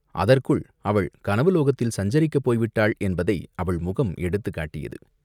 அதற்குள் அவள் கனவுலோகத்தில் சஞ்சரிக்கப் போய்விட்டாள் என்பதை அவள் முகம் எடுத்துக் காட்டியது.